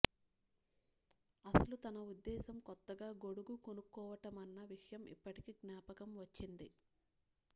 అసలు తన ఉద్దేశం కొత్తగా గొడుగు కొనుక్కోవటమన్న విషయం ఇప్పటికీ జ్ఞాపకం వచ్చింది